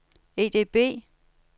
EDB